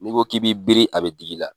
N'i ko k'i bi biri a be digi la.